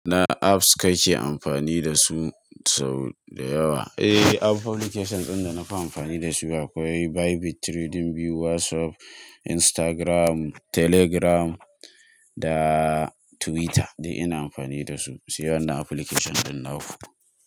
Na apps kake amfani dasu sau dayawa? Application ɗin da na fi amfani dasu akwai Bybit Trading View, WhatsApp, Instagram, Telegram da Twitter. Ina amfani dasu, sai wannan application ɗin na fi.